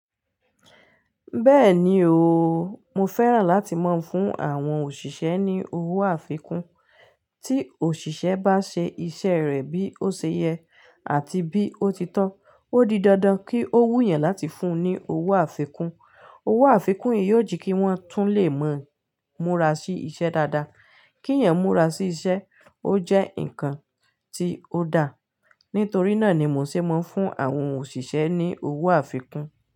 Bẹ́ẹ̀ni o, mo fẹ́ràn láti máa ń fún àwọn òṣìṣẹ́ ní owó àfikún. Tí òṣìṣẹ́ bá ṣe iṣẹ́ rẹ̀ bí ó ṣe yẹ àti bí ó ti tọ́, ó di dandan kí ó wù yan láti fún un ní owó àfikún. Owó àfikún yìí yóò jekí wọ́n tún lè mọ múra sí iṣẹ́ dáadáa. Kí ẹ̀eyan múra sí iṣẹ́, ó jẹ́ ǹkan tí ó da. Nítorí náà ni mo ṣe máa ń fún àwọn òṣìṣẹ́ ní owó àfikún.